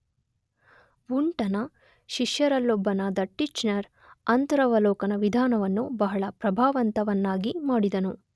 ವುಂಟನ ಶಿಷ್ಯರಲ್ಲೊಬ್ಬನಾದ ಟಿಚ್ನರ್ ಅಂತರವಲೋಕನ ವಿಧಾನವನ್ನು ಬಹಳ ಪ್ರಭಾವಂತವನ್ನಾಗಿ ಮಾಡಿದನು.